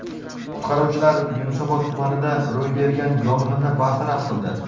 Qutqaruvchilar Yunusobod tumanida ro‘y bergan yong‘inni bartaraf qildi.